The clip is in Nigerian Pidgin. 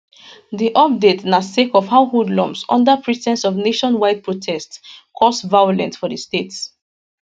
di update na sake of how hoodlums under pre ten ce of nationwide protest cause violent for di state